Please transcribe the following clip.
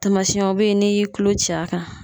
Tamasiyɛnw bɛ yen n'i y'i tulo ci a kan